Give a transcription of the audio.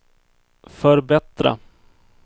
förbättra